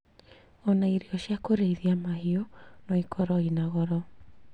Ona irio ia kũrĩithia mahiũ no ikorwo ina goro